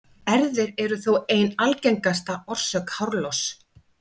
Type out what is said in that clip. Erfðir eru þó ein algengasta orsök hárloss.